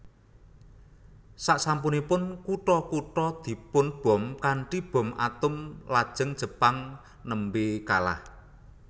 Sasampunipun kutha kutha dipunbom kanthi bom atom lajeng Jepang nembe kalah